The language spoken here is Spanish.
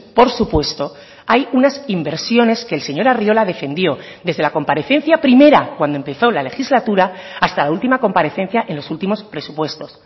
por supuesto hay unas inversiones que el señor arriola defendió desde la comparecencia primera cuando empezó la legislatura hasta la última comparecencia en los últimos presupuestos